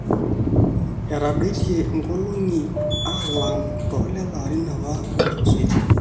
etadoitie inkolong'i alang toolelo arin apa ootulusoitie